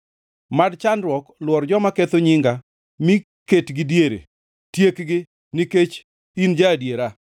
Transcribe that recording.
Mad chandruok lwor joma ketho nyinga mi ketgi diere; tiekgi, nikech in ja-adiera.